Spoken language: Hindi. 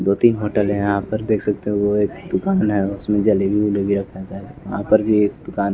दो तीन होटल हैं यहाँ पर देख सकते हो वो एक दुकान है उसमें जलेबी उलेबी रखा है शायद वहाँ पर भी एक दुकान --